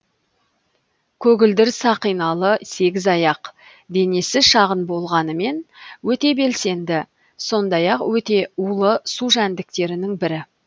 көгілдір сақиналы сегізаяқ денесі шағын болғанымен өте белсенді сондай ақ өте улы су жәндіктерінің бірі